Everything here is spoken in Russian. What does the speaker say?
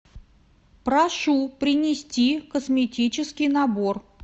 прошу принести косметический набор